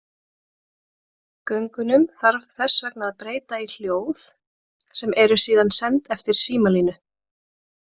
Gögnunum þarf þess vegna að breyta í hljóð sem eru síðan send eftir símalínunni.